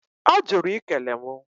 Ọ jụrụ i kele mụ.